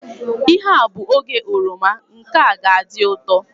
Ihe a bụ oge oroma, nke a ga adị ụtọ